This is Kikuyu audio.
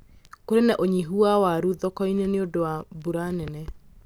Kũrĩ na ũnyihũ ya warũ thoko-inĩ nĩ ũndũ wa mbura nene